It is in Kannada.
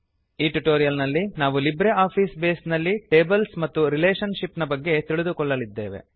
ಈ ಟ್ಯುಟೋರಿಯಲ್ ನಲ್ಲಿ ನಾವು ಲಿಬ್ರೆ ಆಫೀಸ್ ಬೇಸ್ ನಲ್ಲಿ ಟೇಬಲ್ಸ್ ಮತ್ತು ರಿಲೇಶನ್ ಶಿಪ್ ನ ಬಗ್ಗೆ ತಿಳಿದುಕೊಳ್ಳಲಿದ್ದೇವೆ